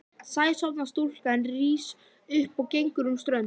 Sæsorfna stúlkan rís upp og gengur um ströndina.